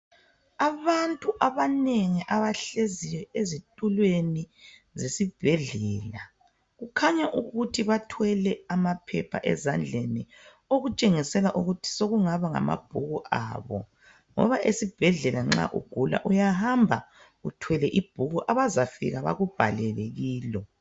Abantu abanengi abahlezi ezitulweni esibhedlela kukhanya ukuthi bathwele amaphepha ezandleni okutshengisela ukuthi sokungaba ngamabhuku abo ngoba esibhedlela nxa ugula uyahamba uthwele ibhuku abazafika bakubhalele kilo.